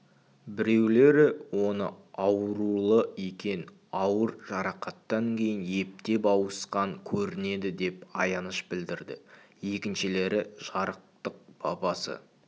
біреулері оны аурулы екен ауыр жарақаттан кейін ептеп ауысқан көрінеді деп аяныш білдірді екіншілері жарықтық бабасы